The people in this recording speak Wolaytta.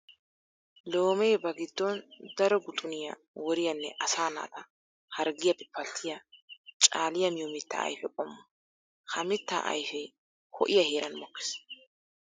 Loome ba giddon daro guxuniya woriyanne asaa naata harggiyappe pattiya caaliya miyo mitta ayfe qommo. Ha mitta ayfe ho'iya heeran mokkes.